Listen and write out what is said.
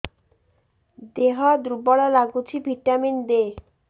ଦିହ ଦୁର୍ବଳ ଲାଗୁଛି ଭିଟାମିନ ଦେ